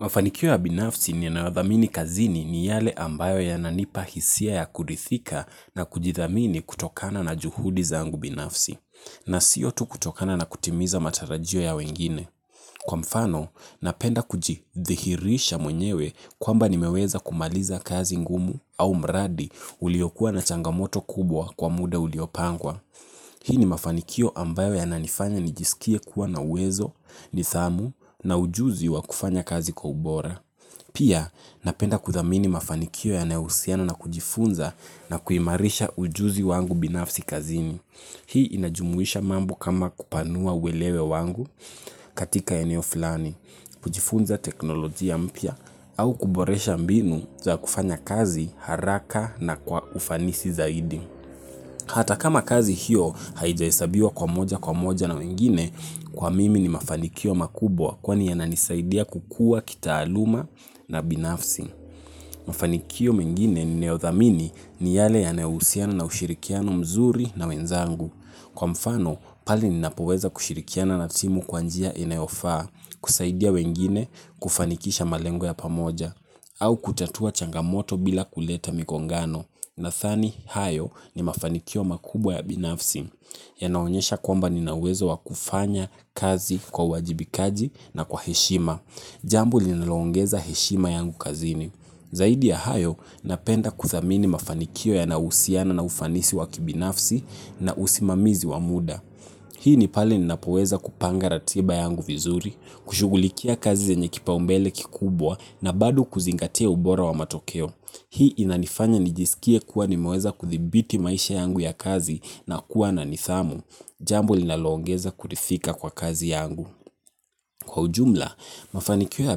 Mafanikio ya binafsi ninayothamini kazini ni yale ambayo yananipa hisia ya kurithika na kujithamini kutokana na juhudi zangu binafsi. Na sio tu kutokana na kutimiza matarajio ya wengine. Kwa mfano, napenda kujidhihirisha mwenyewe kwamba nimeweza kumaliza kazi ngumu au mradi uliokuwa na changamoto kubwa kwa muda uliopangwa. Hii ni mafanikio ambayo yananifanya nijisikie kuwa na uwezo, nidhamu na ujuzi wa kufanya kazi kwa ubora. Pia napenda kuthamini mafanikio yanayohusiana na kujifunza na kuimarisha ujuzi wangu binafsi kazini. Hii inajumuisha mambo kama kupanua uwelewe wangu katika eneo flani, kujifunza teknolojia mpya au kuboresha mbinu za kufanya kazi haraka na kwa ufanisi zaidi. Hata kama kazi hiyo haijahesabiwa kwa moja kwa moja na wengine kwa mimi ni mafanikio makubwa kwani yananisaidia kukua kitaaluma na binafsi. Mafanikio mengine ninayothamini ni yale yanayohusiana na ushirikiano mzuri na wenzangu. Kwa mfano pale ninapoweza kushirikiana na simu kwa njia inayofaa, kusaidia wengine, kufanikisha malengo ya pamoja au kutatua changamoto bila kuleta migongano nadhani hayo ni mafanikio makubwa ya binafsi yanaonyesha kwamba nina uwezo wa kufanya kazi kwa uwajibikaji na kwa heshima. Jambo lililoongeza heshima yangu kazini zaidi ya hayo napenda kuthamini mafanikio yanayohusiana na ufanisi wa kibinafsi na usimamizi wa muda hii ni pale ninapoweza kupanga ratiba yangu vizuri. Kushugulikia kazi zenye kipaumbele kikubwa na bado kuzingatia ubora wa matokeo. Hii inanifanya nijisikie kuwa nimeweza kuthibiti maisha yangu ya kazi na kuwa na nithamu. Jambu linaloongeza kurithika kwa kazi yangu. Kwa ujumla, mafanikio ya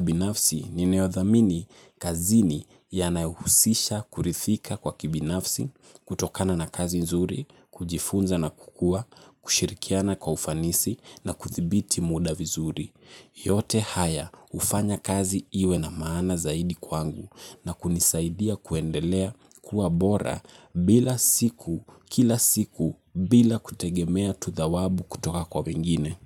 binafsi ninayothamini kazini yanahuhusisha kurithika kwa kibinafsi. Kutokana na kazi nzuri, kujifunza na kukua, kushirikiana kwa ufanisi na kuthibiti muda vizuri. Yote haya hufanya kazi iwe na maana zaidi kwangu na kunisaidia kuendelea kuwa bora bila siku kila siku bila kutegemea tu thawabu kutoka kwa wengine.